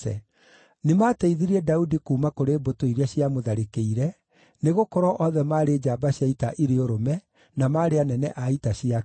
Nĩmateithirie Daudi kuuma kũrĩ mbũtũ iria ciamũtharĩkĩire, nĩgũkorwo othe maarĩ njamba cia ita irĩ ũrũme, na maarĩ anene a ita ciake.